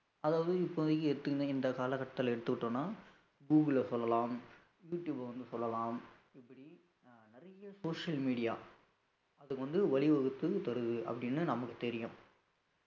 அதாவது இப்போதைக்கு ஏற்கனவே இந்த கால கட்டத்துல எடுத்துக்கிட்டோம்னா google அ சொல்லலாம் யூ டியூப்அ வந்து சொல்லலாம் இப்படி நிறைய social media அது வந்து வழி வகுத்து தருது அப்படின்னு நமக்கு தெரியும்